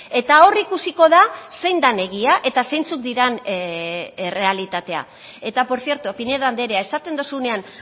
eta hor ikusiko da zein den egia eta zeintzuk diren errealitatea eta por cierto pinedo andrea esaten duzunean